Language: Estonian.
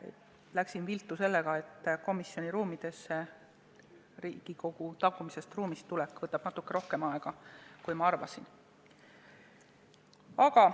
Mul läks viltu see, et Riigikogu tagumistest ruumidest komisjoni ruumidesse tulek võttis natuke rohkem aega, kui ma arvasin.